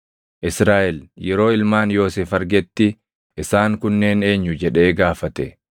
Israaʼel yeroo ilmaan Yoosef argetti, “Isaan kunneen eenyu?” jedhee gaafate.